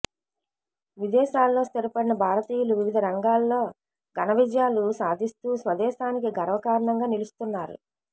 విదేశాల్లో స్థిరపడిన భారతీయులు వివిధ రంగాల్లో ఘన విజయాలు సాధిస్తూ స్వదేశానికి గర్వకారణంగా నిలుస్తున్నారు